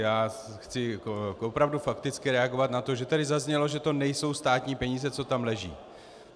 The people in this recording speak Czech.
Já chci opravdu fakticky reagovat na to, že tady zaznělo, že to nejsou státní peníze, co tam leží.